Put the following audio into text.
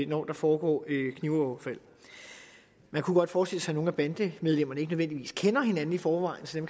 når der foregår knivoverfald man kunne godt forestille sig at nogle af bandemedlemmerne ikke nødvendigvis kender hinanden i forvejen så